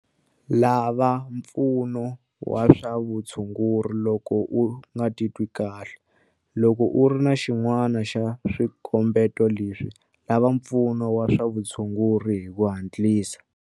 Lava mpfuno wa swa vutshunguri loko u nga titwi kahle. Loko u ri na xin'wana xa swikombeto leswi, lava mpfuno wa swa vutshunguri hi ku hatlisa.